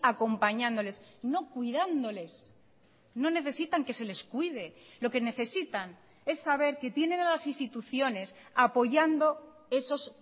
acompañándoles no cuidándoles no necesitan que se les cuide lo que necesitan es saber que tienen a las instituciones apoyando esos